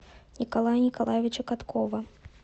николая николаевича каткова